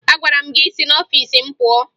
Agwara m gị si n'ọfiisi m pụọ!